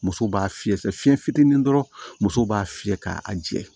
Musow b'a fiyɛ sɛfiɲɛ fitinin dɔrɔn muso b'a fiyɛ k'a jɛ